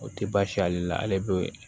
O tɛ baasi ale la ale bɛ